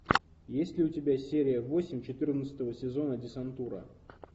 есть ли у тебя серия восемь четырнадцатого сезона десантура